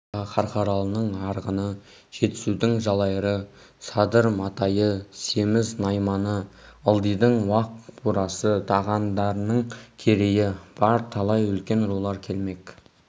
бұл асқа қарқаралының арғыны жетісудың жалайыры садыр-матайы семіз-найманы ылдидың уақ бурасы дағандының керейі бар талай үлкен рулар келмек